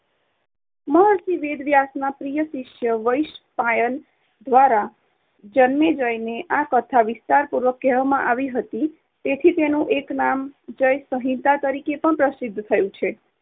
મહર્ષિ વેદવ્યાસના પ્રિય શિષ્ય વૈશંપાયન દ્વારા જન્મેજયને આ કથા વિસ્તારપૂર્વક કહેવામાં આવી હતી, તેથી તેનું એક નામ જય-સંહિતા તરીકે પણ પ્રસિદ્ધ થયું છે.